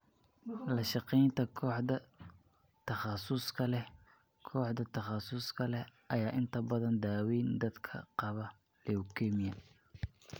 La shaqaynta Kooxda Takhasuska leh Koox takhasus leh ayaa inta badan daaweeya dadka qaba leukemia.